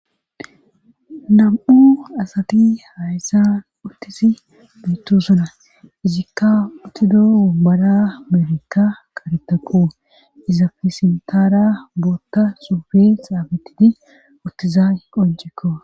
nam7u asati hayssan uttisi beettosona izikka uttidoo bara meerikka qaretaqu izafesintaara bootta sufe xaabetidi uttizay qoncekko